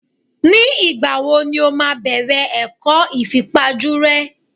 Ni ìgbà wo ni o máa bẹ̀rẹ̀ ẹ̀kọ́ ìfipajú rẹ?